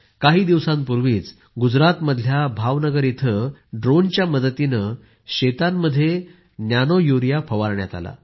काही दिवसांपूर्वीच गुजरातमधल्या भावनगर इथे ड्रोनच्या मदतीने शेतांमध्ये नॅनोयुरिया शिंपडण्यात आला